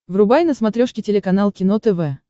врубай на смотрешке телеканал кино тв